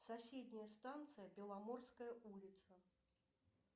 соседняя станция беломорская улица